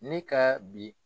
Ne ka bi.